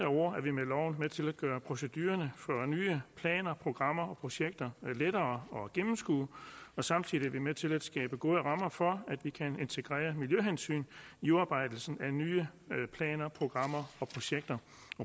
ord er vi med loven med til at gøre procedurerne for nye planer programmer og projekter lettere at gennemskue og samtidig er vi med til at skabe gode rammer for at vi kan integrere miljøhensyn i udarbejdelsen af nye planer programmer og projekter